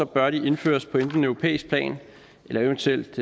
bør de indføres på enten europæisk plan eller eventuelt